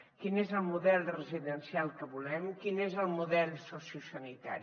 quin és el model residencial que volem quin és el model sociosanitari